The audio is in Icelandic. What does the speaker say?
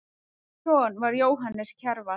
Hvers son var Jóhannes Kjarval?